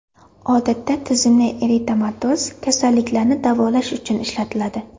Odatda tizimli eritematoz kasalliklarni davolash uchun ishlatiladi.